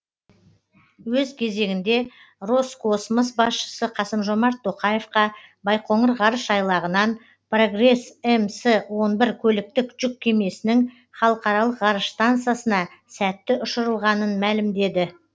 өз кезегінде роскосмос басшысы қасым жомарт тоқаевқа байқоңыр ғарыш айлағынан прогресс мс он бір көліктік жүк кемесінің халықаралық ғарыш стансасына сәтті ұшырылғанын мәлімдеді